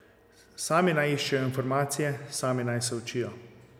Sami naj iščejo informacije, sami naj se učijo.